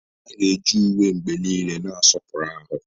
A ga-eji uwe mgbe niile na-asọpụrụ ahụ.